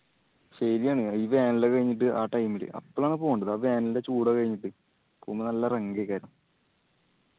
ശെരിയാണ്. ഈ വേനലൊക്കെ കഴിഞ്ഞിട്ട് ആ time ല്. അപ്പോളാണ് പോണ്ടത് ആ വേനലിന്റെ ചൂടൊക്കെ കഴിഞ്ഞിട്ട്. പോവുമ്പോ നല്ല ഒക്കെ ആയിരുന്ന്